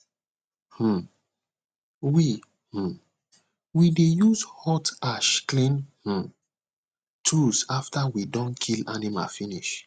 um we um we dey use hot ash clean um tools after we don kill animal finish